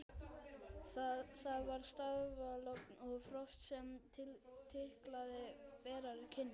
Það var stafalogn og frost sem kitlaði berar kinnar.